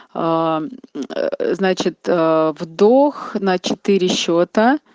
аа значит вдох на четыре счета